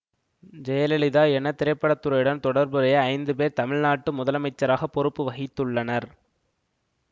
ஜெயலலிதா என திரைப்பட துறையுடன் தொடர்புடைய ஐந்து பேர் தமிழ்நாட்டு முதலமைச்சராக பொறுப்பு வகித்துள்ளனர்